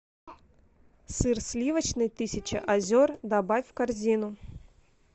сыр сливочный тысяча озер добавь в корзину